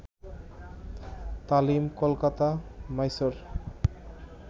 Talim. Kolkata, Mysore